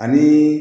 Ani